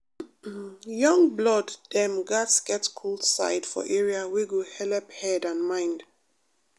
young blood dem gatz get cool side for area wey go helep head and mind.